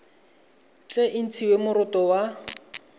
tle e ntshiwe moroto wa